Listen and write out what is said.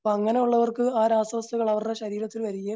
അപ്പോ അങ്ങനെയുള്ളവർക്ക് ആ രാസ വസ്തുക്കൾ അവരുടെ ശരീരത്തിൽ വരികയും